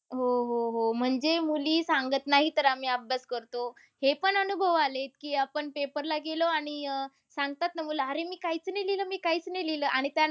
हो, हो, हो. म्हणजे मुली सांगत नाही तर आम्ही अभ्यास करतो. हे पण अनुभव आलेत की आपण paper ला गेलो आणि अह सांगतात ना मुलं की मी अरे काहीच नाही लिहलं. मी काहीच नाही लिहलं. आणि त्यानंतर